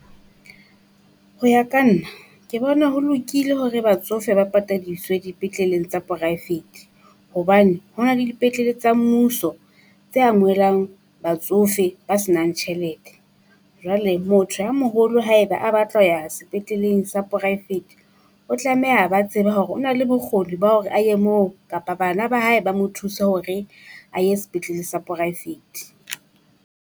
Ho ya ka nna ke bona ho lokile hore batsofe ba patadiswe dipetleleng sa poraefete. Hobane ho na le dipetlele tsa mmuso tse amohelang batsofe ba senang tjhelete. Jwale motho a moholo haeba a batla ho ya sepetleleng sa poraefete, o tlameha a ba tsebe hore o na le bokgoni ba hore a ye moo kapa bana ba hae ba mo thuse hore a ye sepetlele sa poraefete.